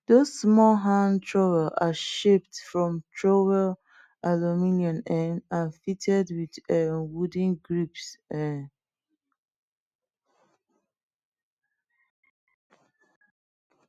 dos small hand trowels are shaped from troway aluminium um and fitted wit um wooden grips um